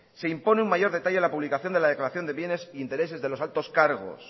se impone un mayor detalle a la publicación de la declaración de bienes e intereses de los altos cargos